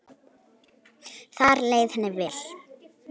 Þar leið henni vel.